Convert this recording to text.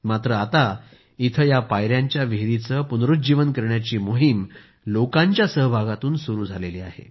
मात्र आता इथं या पाययांच्या विहिरीचे पुनरूज्जीवन करण्याची मोहीम लोकांच्या सहभागातून सुरू केली आहे